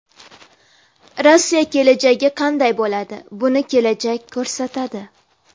Rossiya kelajagi qanday bo‘ladi, buni kelajak ko‘rsatadi.